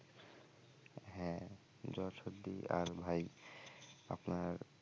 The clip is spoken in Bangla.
হ্যা জ্বর সর্দি আর ভাই আপনার,